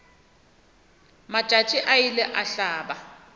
matšatši a ile a hlaba